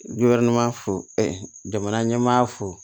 fo jamana ɲɛmaa fo